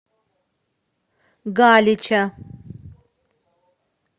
галича